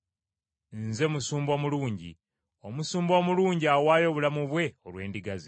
“Nze musumba omulungi. Omusumba omulungi awaayo obulamu bwe olw’endiga.